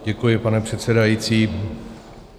Děkuji, pane předsedající.